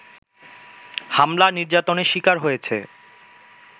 হামলা-নির্যাতনের শিকার হয়েছে